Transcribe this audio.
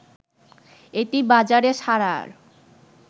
এটি বাজারে ছাড়ার